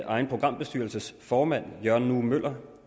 egen programbestyrelsesformand jørgen nue møller